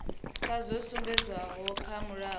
sa zwo sumbedzwaho kha mulayo